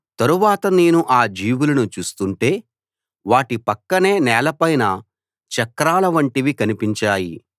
తరువాత నేను ఆ జీవులను చూస్తుంటే వాటి పక్కనే నేలపైన చక్రాల వంటివి కనిపించాయి